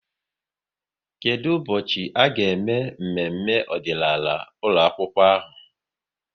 Kedụ ụbọchị a ga-eme mmemme ọdịnaala ụlọakwụkwọ ahụ?